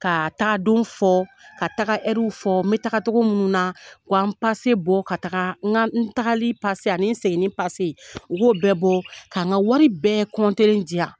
Ka tag,a don fɔ ka taga fɔ, n bɛ taga cogo mun nuna, wa n pase bɔ ka taga n ga n tagali pase ani seginni pase. U b'o bɛɛ bɔ ,k'an ka wari bɛɛ di yan.